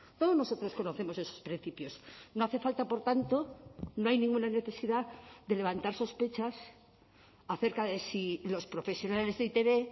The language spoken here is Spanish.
todos nosotros conocemos esos principios no hace falta por tanto no hay ninguna necesidad de levantar sospechas acerca de si los profesionales de e i te be